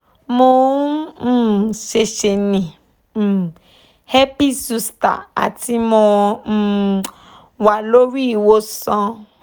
mo um se se ni um herpes zoster ati mo um wa lori iwosan